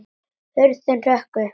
Hurðin hrökk upp!